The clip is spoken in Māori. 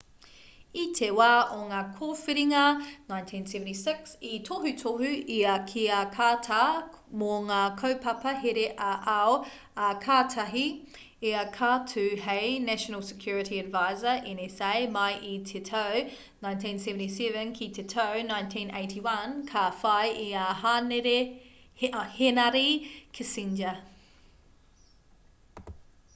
i te wā o ngā kōwhiringa 1976 i tohutohu ia ki a carter mō ngā kaupapa here ā-ao ā kātahi ia ka tū hei national security advisor nsa mai i te tau 1977 ki te tau 1981 ka whai i a henare kissinger